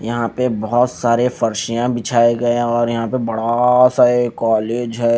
यहां पे बहोत सारे फर्शियां बिछाए गए है और यहां पे बड़ा सा ये कॉलेज है।